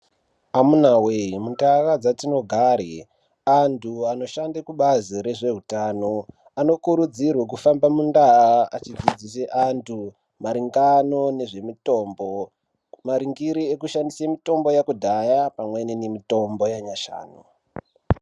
Amunaa wee! Muntaraunda dzetinogare antu anoshande kubazi rezveutano anokurudzirwe kufamba mundaa achidzidzise antu maringano nezvemitombo maringire ngekushandisa mitombo yakudhaya nemitombo yanyashanu